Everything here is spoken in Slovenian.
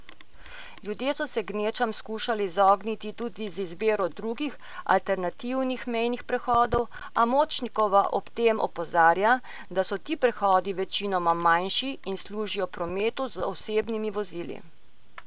Ljudje so se gnečam skušali izogniti tudi z izbiro drugih, alternativnih mejnih prehodov, a Močnikova ob tem opozarja, da so ti prehodi večinoma manjši in služijo prometu z osebnimi vozili.